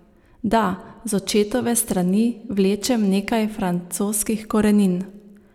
Da, z očetove strani vlečem nekaj francoskih korenin.